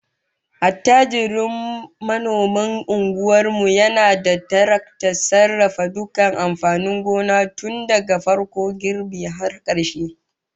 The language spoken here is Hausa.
Attajirin manomin unguwar mu yana da taraktar sarrafa dukkan amfanin gona tun daga farkon girbi har karshe